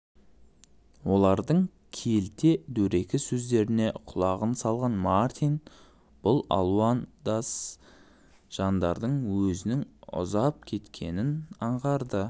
олардың келте дөрекі сөздеріне құлағын салған мартин бұл алуандас жандардан өзінің ұзап кеткенін аңғарды